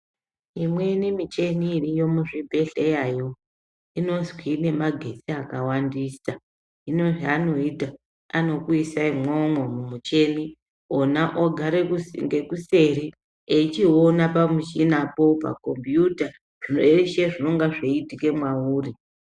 Imweni micheni iriyo muzvibhedhlerayo inozwi ine magetsi akawandisa. Hino zvaanoita anokuisa imwomwo mumuchini ona ogare ngekuseri eichiona pamuchinapo pakombiyuta zveshe zvinonga zveiitika mwauri.